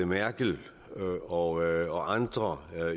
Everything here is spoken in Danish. merkel og andre